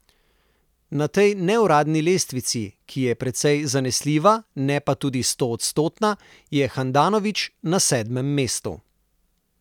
Na tej neuradni lestvici, ki je precej zanesljiva, ne pa tudi stoodstotna, je Handanović na sedmem mestu.